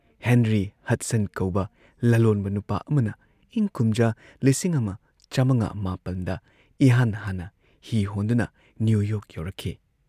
Henry Hudson ꯀꯧꯕ ꯂꯂꯣꯟꯕ ꯅꯨꯄꯥ ꯑꯃꯅ ꯏꯪ ꯀꯨꯝꯖꯥ ꯂꯤꯁꯤꯡ ꯑꯃ ꯆꯥꯃꯉꯥ ꯃꯥꯄꯟꯗ ꯏꯍꯥꯟ ꯍꯥꯟꯅ ꯍꯤ ꯍꯣꯟꯗꯨꯅ ꯅ꯭ꯌꯨ ꯌꯣꯔꯛ ꯌꯧꯔꯛꯈꯤ ꯫